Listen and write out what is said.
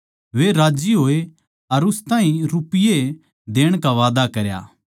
वे राज्जी होए अर उस ताहीं रुपिये देण का वादा किया